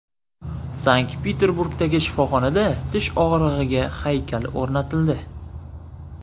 Sankt-Peterburgdagi shifoxonada tish og‘rig‘iga haykal o‘rnatildi.